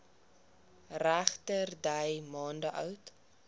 regterdy maande oud